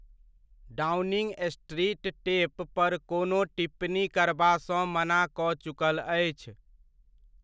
Downing Street tape पर कोनो टिप्पणी करबा सँ मना कऽ चुकल अछि।